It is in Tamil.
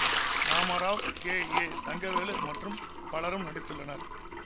ராமராவ் கே ஏ தங்கவேலு மற்றும் பலரும் நடித்துள்ளனர்